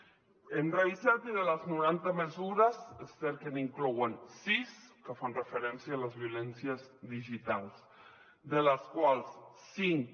l’hem revisat i de les noranta mesures és cert que n’hi inclouen sis que fan referència a les violències digitals de les quals cinc